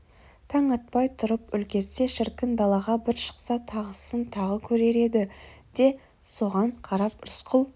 таң атпай тұрып үлгерсе шіркін далаға бір шықса тағысын тағы көрер еді де соған қарап рысқұл